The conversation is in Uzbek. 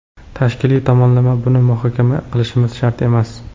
Tashkiliy tomonlama… Buni muhokama qilishimiz shart emas.